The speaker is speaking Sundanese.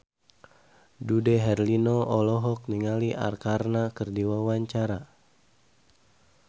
Dude Herlino olohok ningali Arkarna keur diwawancara